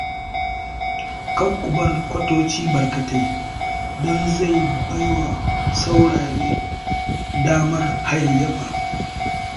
Kar ku bar kwatoci barkatai don zai ba wa sauraye damar hayayyafa